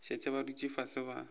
šetše ba dutše fase ba